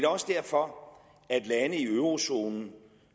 også derfor at lande i eurozonen